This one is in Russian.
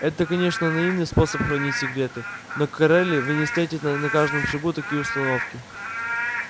это конечно наивный способ хранить секреты но на кореле вы не встретите на каждом шагу такие установки